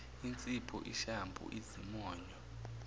insipho ishampu izimonyo